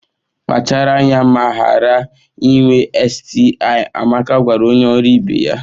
Kpachara anya ma ghara inwe STI! Amaka gwara onye ọrụ ibe ya